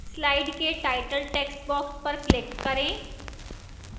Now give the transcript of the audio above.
slide के title textbox पर click करें